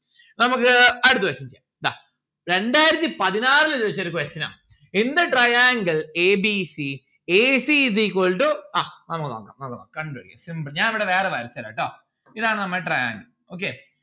നമ്മുക്ക് അടുത്ത question ഇതാ രണ്ടായിരത്തി പതിനാറിൽ ചോദിച്ച ഒരു question ആ in the triangle a b c ac is equal to ആഹ് നമ്മുക്ക് നോക്കാം നമ്മുക്ക് നോക്കാം കണ്ടുപിടിക്കും simple ഞാൻ ഇവിടെ വേറെ വരച്ചരാം ട്ടോ ഇതാണ് നമ്മളെ triangle. okay